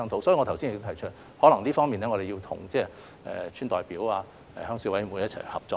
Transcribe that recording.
所以，我剛才已指出有關情況，可能我們需要就這方面與村代表、鄉事委員會一起合作。